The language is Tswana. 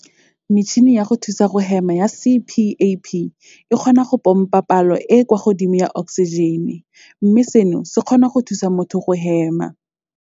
Metšhini ya go thusa go hema ya CPAP e kgona go pompa palo e e kwa godimo ya oksijene, mme seno se kgona go thusa motho go hema.